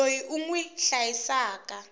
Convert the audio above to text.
loyi u n wi hlayisaka